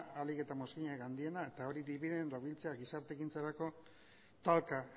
ahalik eta mozkinik handiena da eta hori dibidendoak biltzea gizarte ekintzarako talka